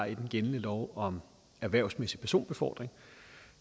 i den gældende lov om erhvervsmæssig personbefordring